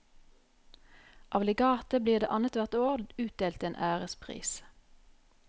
Av legatet blir det annet hvert år utdelt en ærespris.